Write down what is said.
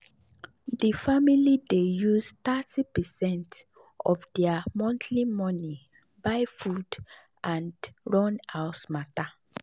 the family dey use thirty percent of their monthly money buy food and and run house matter.